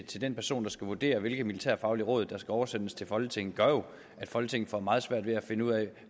til den person der skal vurdere hvilke militærfaglige råd der skal oversendes til folketinget gør jo at folketinget får meget svært ved at finde ud af